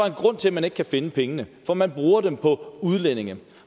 en grund til at man ikke kan finde pengene for man bruger dem på udlændinge